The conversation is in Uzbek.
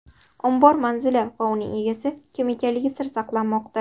Ombor manzili va uning egasi kim ekanligi sir saqlanmoqda.